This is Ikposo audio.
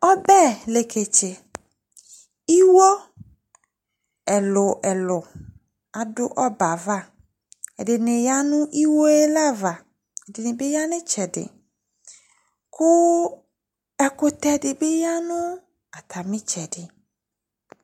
Ɔbɛ leketse Iwó ɛlu ɛlu aɖu ɔbɛ yɛ ayu aʋa Ɛɖini ya nu iwó yɛ lã aʋa Ɛɖinibi yã nu itsɛɖi Ku ɛkutɛɖi bi ya nu atami itsɛɖi